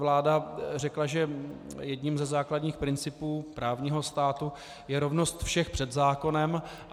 Vláda řekla, že jedním ze základních principů právního státu je rovnost všech před zákonem.